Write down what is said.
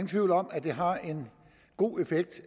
tvivl om at det har en god effekt